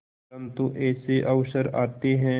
परंतु ऐसे अवसर आते हैं